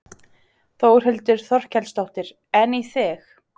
Þórhildur Þorkelsdóttir: En í þig?